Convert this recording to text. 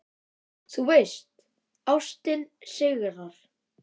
Þú veist: Ástin sigrar.